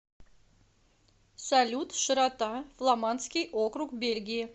салют широта фламандский округ бельгии